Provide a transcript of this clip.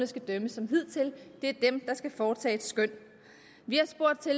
skal dømme som hidtil det er dem der skal foretage et skøn vi har spurgt til